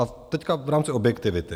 A teď v rámci objektivity.